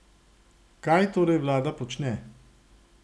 Kaj torej vlada počne?